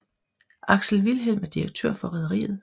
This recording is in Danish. Alex Vilhelm er direktør for rederiet